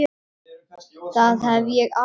Það hef ég alltaf sagt.